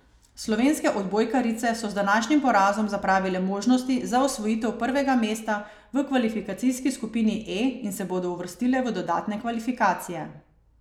Slovenske odbojkarice so z današnjim porazom zapravile možnosti za osvojitev prvega mesta v kvalifikacijski skupini E in se bodo uvrstile v dodatne kvalifikacije.